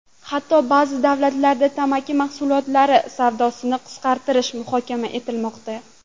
Hatto ba’zi davlatlarda tamaki mahsulotlari savdosini qisqartirish muhokama etilmoqda.